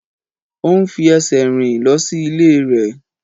Ó ń fi ẹsẹ̀ rìn lọ sí ilé rẹ̀.